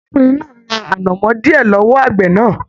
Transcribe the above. Arákùnrin náà ra anamọ diẹ lọwọ àgbẹ náà.